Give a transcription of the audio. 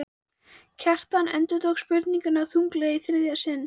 Kjartan endurtók spurninguna þunglega í þriðja sinn.